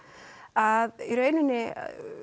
að í rauninni